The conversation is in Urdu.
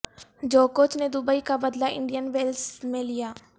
جوکووچ نے دبئی کا بدلہ انڈین ویلز میں لیا